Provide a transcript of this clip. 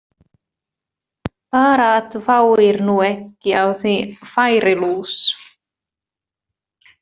Bara að þú fáir nú ekki á þig færilús!